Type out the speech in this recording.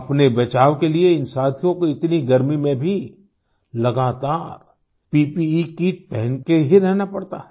अपने बचाव के लिए इन साथियों को इतनी गर्मी में भी लगातार प्पे किट पहन के ही रहना पड़ता है